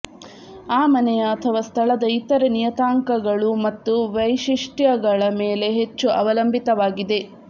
ಆ ಮನೆಯ ಅಥವಾ ಸ್ಥಳದ ಇತರ ನಿಯತಾಂಕಗಳು ಮತ್ತು ವೈಶಿಷ್ಟ್ಯಗಳ ಮೇಲೆ ಹೆಚ್ಚು ಅವಲಂಬಿತವಾಗಿದೆ